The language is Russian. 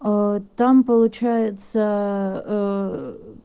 там получается